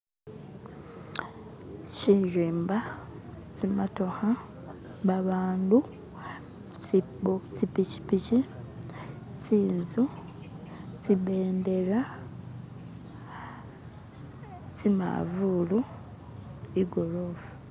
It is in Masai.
Shirimba tsi matokha babandu tsibu tsi pichipichi tsinzu tsibendera tsimavulu igorofa